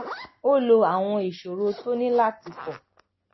ó lo àwọn ìṣòro tó ní láti kó